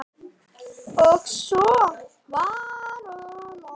Og svo var um okkur.